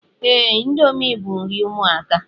Ee, índomi bu nri ụmụaka